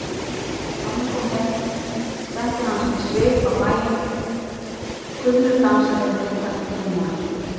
Tommi kom heim setti hann víst svip á bæinn, kunnur dansari og liðtækur glímumaður.